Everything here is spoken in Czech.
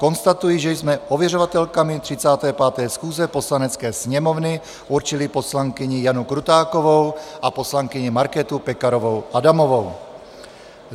Konstatuji, že jsme ověřovatelkami 35. schůze Poslanecké sněmovny určili poslankyni Janu Krutákovou a poslankyni Markétu Pekarovou Adamovou.